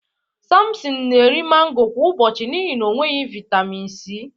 Sampson na-eri mango kwa ụbọchị n'ihi na o nweghị vitamin C.